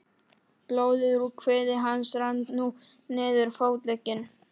Blóðið úr kviði hans rann nú niður fótlegginn.